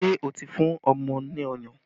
Ṣé o ti fún ọmọ ní ọyàn?